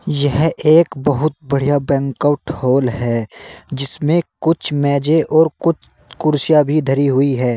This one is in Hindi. यह एक बहुत बढ़िया बैंक आउट हॉल है जिसमें कुछ मेजे और कुछ कुर्सियां भी धरी हुई है।